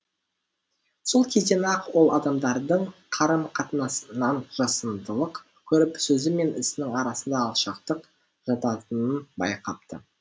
сол кезден ақ ол адамдардың қарым қатынасынан жасандылық көріп сөзі мен ісінің арасында алшақтық жататынын байқапты